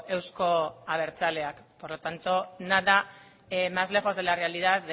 euzko abertzaleak por lo tanto nada más lejos de la realidad